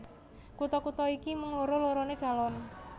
Kutha kutha iki mung loro loroné calon